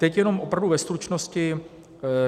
Teď jenom opravdu ve stručnosti.